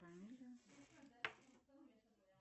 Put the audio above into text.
направление звука туда